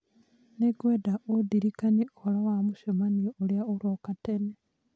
nĩ ngwenda ũndirikanie ũhoro wa mũcemanio ũrĩa ũroka tene